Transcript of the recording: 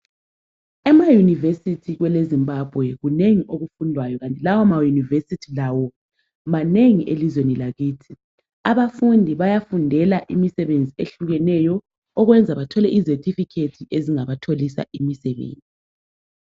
Ema university kwele Zimbabwe kunengi okufundwayo kanti lawo ama university lawo manengi elizweni lakithi. Abafundi bayafundela imisebenzi ehlukeneyo okwenza bathole ama certificate angabatholisa imisebenzi.